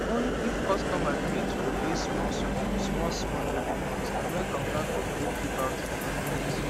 only if customer gree to dey pay small small small small every month na make contractor gree give out equipment